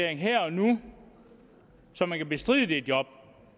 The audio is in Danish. her og nu så man kan bestride det job